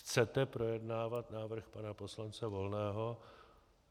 Chcete projednávat návrh pana poslance Volného.